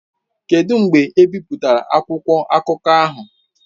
Kedụ mgbe ebipụtara akwụkwọ akụkọ ahụ?